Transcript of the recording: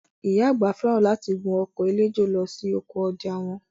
Ìyá àgbà fẹ́ràn láti gun ọkọ̀ eléjò lọ sí oko ọjà wọn